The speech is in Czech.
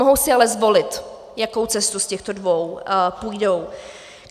Mohou si ale zvolit, jakou cestu z těchto dvou půjdou.